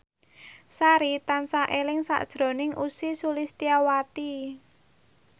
Sari tansah eling sakjroning Ussy Sulistyawati